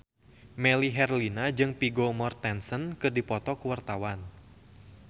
Melly Herlina jeung Vigo Mortensen keur dipoto ku wartawan